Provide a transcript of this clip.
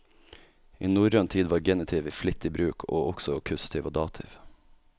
I norrøn tid var genitiv i flittig bruk, og også akkusativ og dativ.